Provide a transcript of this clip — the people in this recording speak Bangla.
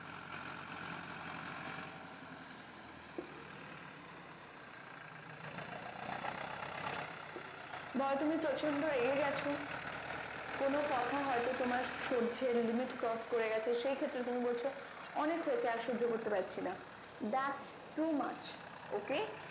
ধরো তুমি প্রচন্ড রেগে গেছো কোনো কথা হয়তো তোমার সজ্জ্যের limit cross করে গেছে সেই ক্ষেত্রে তুমি বলছো অনেক হয়েছে আর সোজ্জো করতে পারছি না thats to Mac ok